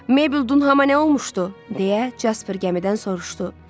Mabel Dunhama nə olmuşdu, deyə Jasper gəmidən soruşdu.